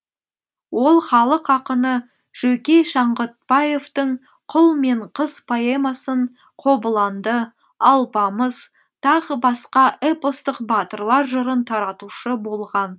ол халық ақыны жөкей шаңғытбаевтың құл мен қыз поэмасын қобыланды алпамыс тағы басқа эпостық батырлар жырын таратушы болған